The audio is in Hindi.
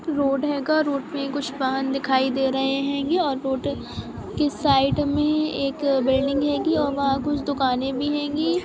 रोड़ हेगा रोड़ पे कुछ वहाँ दिखाई दे रहे है और यह रोड़ साइड मे एक बिल्डिंग हैगी और कुछ दुकाने भी हैगी।